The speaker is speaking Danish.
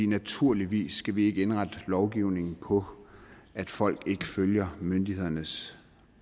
naturligvis skal vi ikke indrette lovgivningen på at folk ikke følger myndighedernes